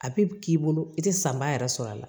A bi k'i bolo i te sanba yɛrɛ sɔrɔ a la